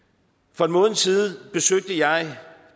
for en måned siden besøgte jeg